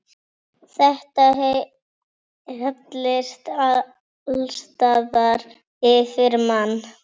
Þetta hellist allsstaðar yfir mann.